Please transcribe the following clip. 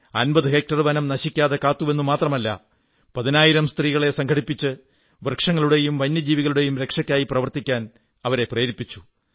50 hectare വനം നശിക്കാതെ കാത്തുവെന്നു മാത്രമല്ല പതിനായിരം സ്ത്രീകളെ സംഘടിപ്പിച്ച് വൃക്ഷങ്ങളുടെയും വന്യജീവികളുടെയും രക്ഷക്കായി പ്രവർത്തിക്കാൻ അവരെ പ്രേരിപ്പിച്ചു